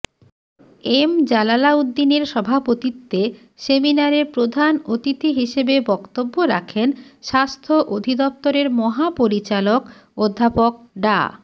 M জালালাউদ্দিনের সভাপতিত্বে সেমিনারে প্রধান অতিথি হিসেবে বক্তব্য রাখেন স্বাস্থ্য অধিদপ্তরের মহাপরিচালক অধ্যাপক ডা